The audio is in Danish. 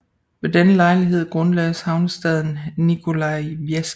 Ved denne lejlighed grundlagdes havnestaden Nikolajevsk